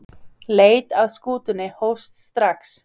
Leit að skútunni hófst strax.